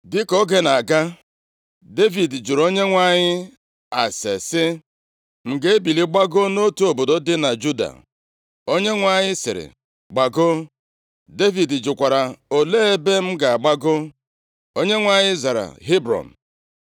Dịka oge na-aga, Devid jụrụ Onyenwe anyị ase sị, “M ga-ebili gbagoo nʼotu obodo dị na Juda?” Onyenwe anyị sịrị, “Gbagoo.” Devid jụkwara, “Olee ebe m ga-agbago?” Onyenwe anyị zara, “Hebrọn.”